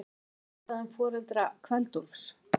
Er vitað um foreldra Kveld-Úlfs?